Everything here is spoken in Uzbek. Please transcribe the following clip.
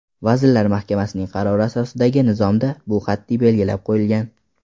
Vazirlar Mahkamasining qarori asosidagi nizomda bu qat’iy belgilab qo‘yilgan.